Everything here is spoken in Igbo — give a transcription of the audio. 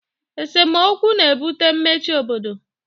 esemokwu na-ebute mmechi obodo